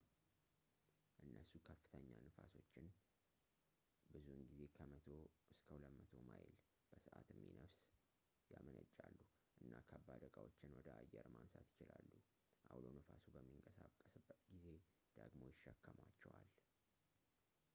እነሱ ከፍተኛ ንፋሶችን ብዙውን ጊዜ ከ 100-200 ማይል / በሰዓት የሚነፍስ ያመነጫሉ እና ከባድ ዕቃዎችን ወደ አየር ማንሳት ይችላሉ ፣ አውሎ ነፋሱ በሚንቀሳቀስበት ጊዜ ደግሞ ይሸከሟቸዋል